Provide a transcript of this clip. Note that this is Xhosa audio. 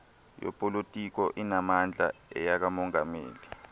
yopolitiko inamandla iyekamongameli